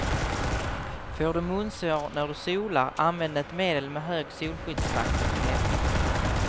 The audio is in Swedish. Får du munsår när du solar, använd ett medel med hög solskyddsfaktor på läpparna.